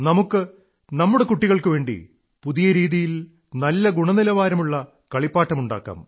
നമുക്ക് നമ്മുടെ യുവാക്കൾക്കുവേണ്ടി പുതിയ രീതിയിൽ നല്ല ഗുണനിലവാരമുള്ള കളിപ്പാട്ടമുണ്ടാക്കാം